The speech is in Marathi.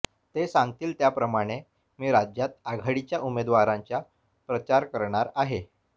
ते सांगतील त्याप्रमाणे मी राज्यात आघाडीच्या उमेदवारांच्या प्रचार करणार आहे